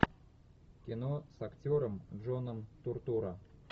кино с актером джоном туртурро